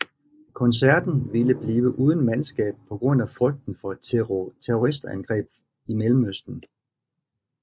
Koncerten ville blive uden mandskab på grund af frygten for terroristangreb i Mellemøsten